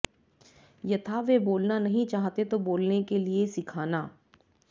यथा वे बोलना नहीं चाहते तो बोलने के लिए सिखाना